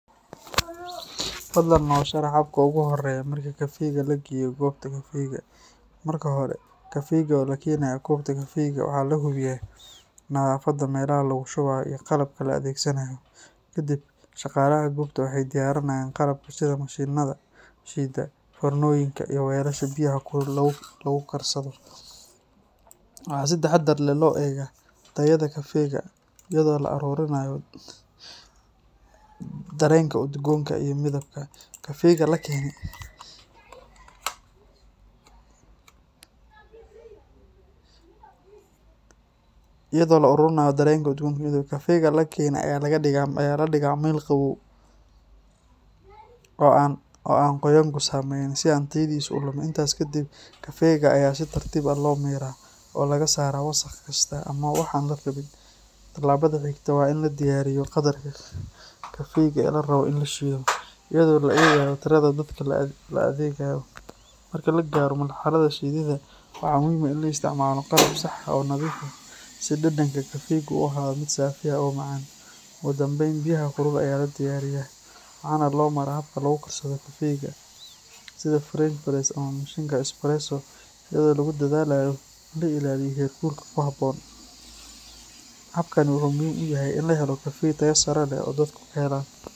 Fadlan noo sharax habka ugu horreeya marka kafeyga la geeyo goobta kafeyga. Marka hore, kafeyga oo la keenayo goobta kafeyga waxaa la hubiyaa nadaafadda meelaha lagu shubayo iyo qalabka la adeegsanayo. Kaddib, shaqaalaha goobta waxay diyaariyaan qalabka sida mashiinnada shiida, foornooyinka, iyo weelasha biyaha kulul lagu karsado. Waxaa si taxaddar leh loo eegaa tayada kafeyga, iyadoo la ururinayo dareenka udgoonka iyo midabka. Kafeyga la keenay ayaa la dhigaa meel qabow oo aan qoyaanku saameyn, si aan tayadiisa u lumin. Intaas kadib, kafeyga ayaa si tartiib ah loo miiraa oo laga saaraa wasakh kasta ama wax aan la rabin. Tallaabada xigta waa in la diyaariyo qadarka kafeyga ee la rabo in la shiido, iyadoo la eegayo tirada dadka la adeegayo. Marka la gaaro marxaladda shiididda, waxaa muhiim ah in la isticmaalo qalab sax ah oo nadiif ah si dhadhanka kafeygu u ahaado mid saafi ah oo macaan. Ugu dambayn, biyaha kulul ayaa la diyaariyaa, waxaana loo maraa habka lagu karsado kafeyga sida French press ama mashiinka espresso iyadoo lagu dadaalayo in la ilaaliyo heerkulka ku habboon. Habkani wuxuu muhiim u yahay in la helo kafey tayo sare leh oo dadku ka helaan.